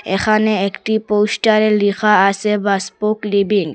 এখানে একটি পোস্টারে লেখা আসে বাসপোক লিভিং ।